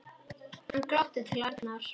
Hann glotti til Arnar.